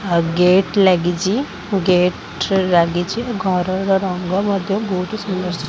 ଆଉ ଗେଟ୍ ଲାଗିଛି ଗେଟ୍ ଲାଗିଛି ଘର ର ରଙ୍ଗ ମଧ୍ୟ ବହୁତ ସୁନ୍ଦର ସୁ --